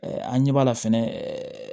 an ɲɛ b'a la fɛnɛ